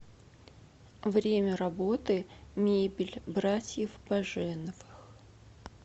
время работы мебель братьев баженовых